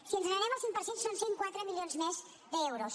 si ens n’anem al cinc per cent són cent i quatre milions més d’euros